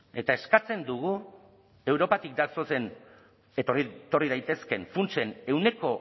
eta eskatzen dugu europatik datozen eta etorri daitezkeen funtsen ehuneko